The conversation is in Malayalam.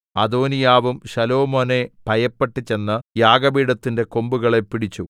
അദോനീയാവും ശലോമോനെ ഭയപ്പെട്ട് ചെന്ന് യാഗപീഠത്തിന്റെ കൊമ്പുകളെ പിടിച്ചു